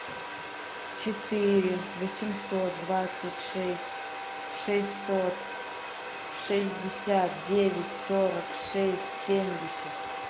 четыре восемьсот двадцать шесть шестьсот шестьдесят девять сорок шесть семьдесят